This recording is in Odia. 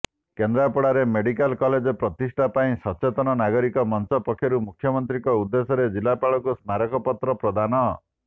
କେନ୍ଦ୍ରାପଡାରେ ମେଡିକାଲ କଲେଜ ପ୍ରତିଷ୍ଠା ପାଇଁ ସଚେତନ ନାଗରିକ ମଂଚ ପକ୍ଷରୁ ମୁଖ୍ୟମନ୍ତ୍ରୀଙ୍କ ଉଦେଶ୍ୟରେ ଜିଲ୍ଲାପାଳଙ୍କୁ ସ୍ମାରକପତ୍ର ପ୍ରଦାନ